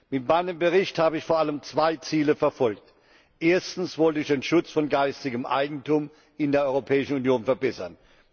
Mit meinem Bericht habe ich vor allem zwei Ziele verfolgt Erstens wollte ich den Schutz von geistigem Eigentum in der Europäischen Union verbessern.